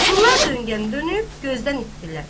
Bunlar dönqən dönüb gözdən itdilər.